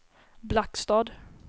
Blackstad